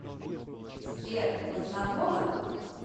сбер вы знакомы